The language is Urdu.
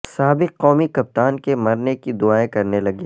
سابق قومی کپتان کے مرنے کی دعائیں کرنے لگے